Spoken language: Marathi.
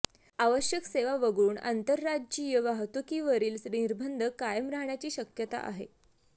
आवश्यक सेवा वगळून आंतरराज्यीय वाहतुकीवरील निर्बंध कायम राहण्याची शक्यता आहे